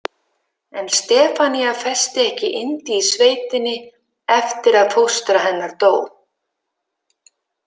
En Stefanía festi ekki yndi í sveitinni eftir að fóstra hennar dó.